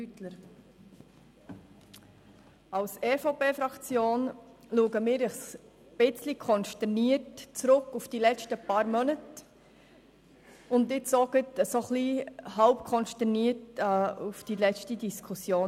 Als EVP-Fraktion schauen wir ein bisschen konsterniert auf die letzten Monate zurück und jetzt auch halbkonsterniert auf die letzte Diskussion.